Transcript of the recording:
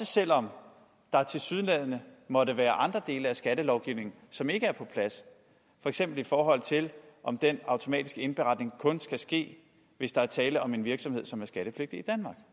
selv om der tilsyneladende måtte være andre dele af skattelovgivningen som ikke er på plads for eksempel i forhold til om den automatiske indberetning kun skal ske hvis der er tale om en virksomhed som er skattepligtig i